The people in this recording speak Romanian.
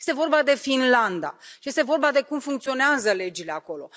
Este vorba de Finlanda și este vorba de cum funcționează legile acolo.